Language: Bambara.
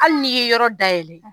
Hali n'i ye yɔrɔ dayɛlɛ